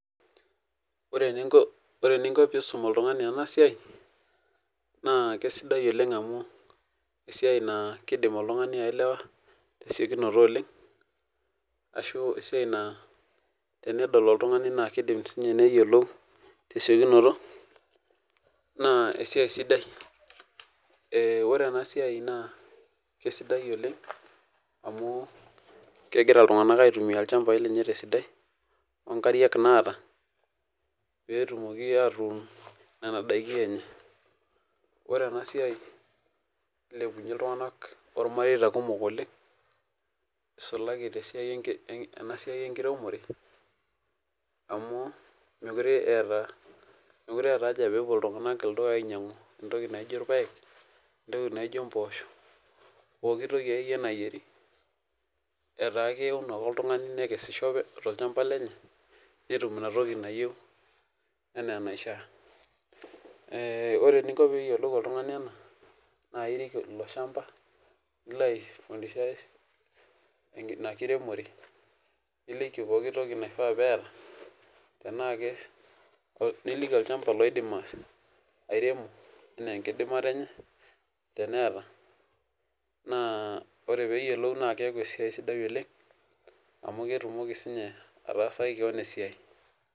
Ore eninko pisum oltungani enasia na kesidai amu esiai na kidim oltungani ailewa tesiokinoto oleng ashu esiai na tenedol oltungani na kidim neyiolou tesiokinoto na esiai esidai oleng amu kegira ltunganak aitumia lchambau leye tesidai onkariak naata petumoki atuun nona dakin enye ore enasia nilepunye ltunganak ormareita kumok oleng isulaki tesiai enkiremore amu mekute eeta pepuo ltunganak ainyangu entoki naijo irpaek, impoosho pooki toki akeyie nayieri ata keun ake oltungani nekesisho tolchamba lenye netum entoki nayieu anaa enaisha ore pinko oltungani peyiolou ena na irik olchamba tanaa niliki olchamba oidim airemo anaa enkidimata enye teneeta ore peyiolou naa keaku esiaia sidai oleng amu ketumoki ataasaki keon esiai.